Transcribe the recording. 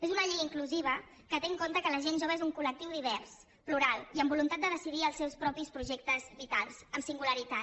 és una llei inclusiva que té en compte que la gent jove és un col·lectiu divers plural i amb voluntat de decidir els seus propis projectes vitals amb singularitat